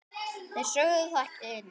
Þeir sögðu það ekki aðeins.